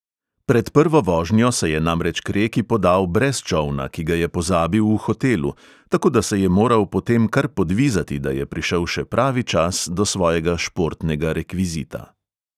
Pred prvo vožnjo se je namreč k reki podal brez čolna, ki ga je pozabil v hotelu, tako da se je moral potem kar podvizati, da je prišel še pravi čas do svojega športnega rekvizita.